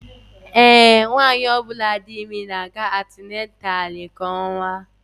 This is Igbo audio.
Ee, nwanyị ọ bụla dị ime na-aga atinatalu kwa ọnwa